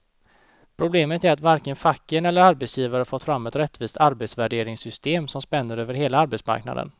Problemet är att varken facken eller arbetsgivare fått fram ett rättvist arbetsvärderingssystem som spänner över hela arbetsmarknaden.